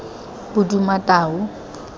bodumatau